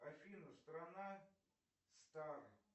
афина страна